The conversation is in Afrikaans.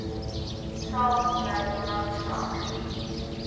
dalk sou belangstel